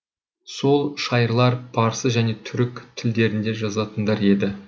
сол шайырлар парсы және түрік тілдерінде жазатындар еді